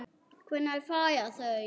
Hvenær fara þau?